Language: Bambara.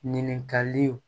Ɲininkaliw